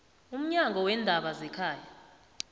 umnyango weendaba zekhaya